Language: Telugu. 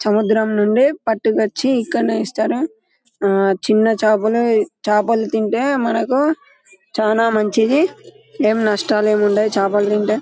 సముద్రం నుండి పట్టుకొచ్చి ఇక్కడ వేస్తారు చిన్న చేపలు చేపలు తింటే మనకు చాలా మంచిది ఏం నష్టాలు ఉండవు చేపలు తింటే.